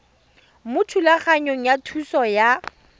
mo thulaganyong ya thuso y